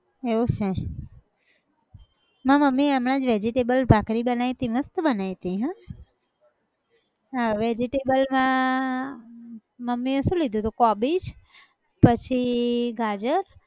એવું છે! મારી મમ્મી હમણાં જ vegetable ભાખરી બનાયી હતી, મસ્ત બનાયી હતી હં? હા હવે vegetable માં, મમ્મી એ સુ લીધું હતું કોબીજ, પછીઈ ગાજર